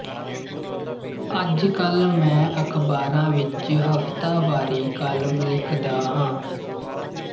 ਅੱਜ ਕੱਲ ਮੈਂ ਅਖਬਾਰਾਂ ਵਿੱਚ ਹਫਤਾਵਾਰੀ ਕਾਲਮ ਲਿਖਦਾ ਹਾਂ